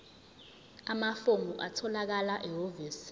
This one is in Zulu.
amafomu atholakala ehhovisi